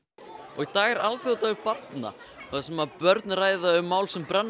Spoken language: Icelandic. í dag er alþjóðadagur barna þar sem börn ræða um mál sem brenna